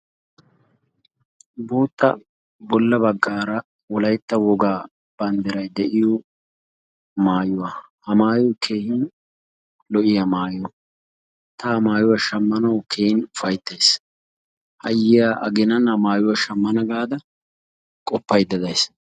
bootta bolla bagaara wolaytta wogaa bandiiray de'iyoo maayuwaa. ha maayooy keehin lo'iyaa mayuwaa. ta ha mayuwaa shaamanawu keehin ufaaytayis. ha yiyaa aaginan ha mayuwaa shaamana gaada qoofaydda dayiis.